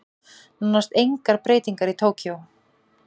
Nánast engar breytingar í Tókýó